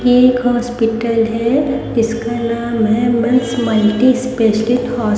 एक हॉस्पिटल है इसका नाम है मैंस मल्टी स्पेशलिस्ट होस--